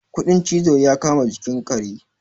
kudin cizo ya kama jikin kare